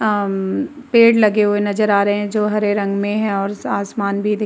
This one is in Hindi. आआम पेड़ लगे हुए नजर आ रहे हैं जो हरे रंग में है और आसमान भी दिख --